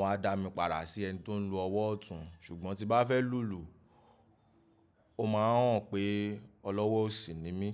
wọ́n á dá mi padà sí ẹni tó ń lo ọwọ́ ọ̀tún ṣùgbọ́n tí bá fẹ́ lùlù, o máa ń hàn pé olọ́wọ́ òsì ni mí.